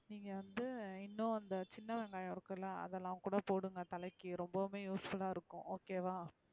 நீங்க வந்து இன்னும் அந்த சின்ன வெங்காயம் இருக்குல அதெல்லாம் கூட போடுங்க தலைக்கு ரொம்பவுமே useful அஹ இருக்கும் okay வா,